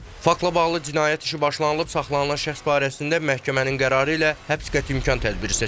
Faktla bağlı cinayət işi başlanılıb, saxlanılan şəxs barəsində məhkəmənin qərarı ilə həbs qəti imkan tədbiri seçilib.